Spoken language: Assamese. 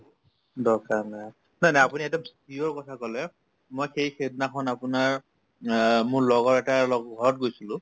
দৰকাৰ নাই নাই নাই আপুনি সেইটো কথা কলে মই সেই সিদিনাখন আপোনাৰ অ মোৰ লগৰ এটাৰ লগত গৈছিলো